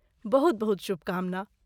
बहुत बहुत शुभकामना।